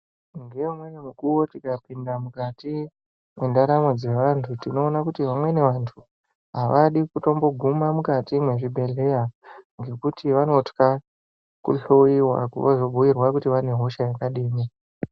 Ngeimweni nguwa tikapinda mukati mwendaraml dzevantu tinoona kuti vamweni vantu avadi kutomboguma mukati mwezvibhehleya ngekuti vanotya kuhloyiwa vozobhuyurwa kuti vane hosha yakadini.